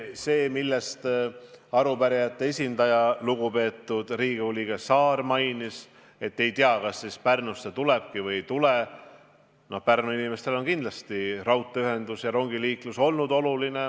See, mida arupärijate esindaja, lugupeetud Riigikogu liige Saar mainis, et ei tea, kas raudtee Pärnusse üldse tulebki või ei tule – no Pärnu inimestele on raudteeühendus ja rongiliiklus olnud olulised.